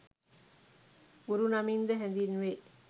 ගුරු නමින්ද හැඳින්වේ.